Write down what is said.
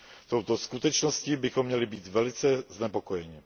Touto skutečností bychom měli být velice znepokojeni.